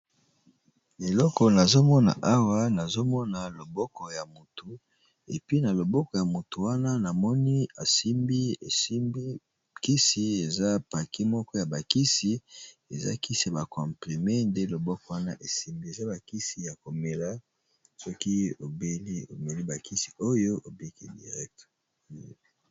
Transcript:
Eloko nazomona awa eza bongo loboko ya mutu esimbi kisi ya komela